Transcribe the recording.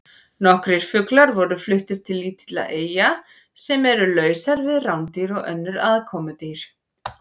Nokkrir fuglar voru fluttir til lítilla eyja sem eru lausar við rándýr og önnur aðkomudýr.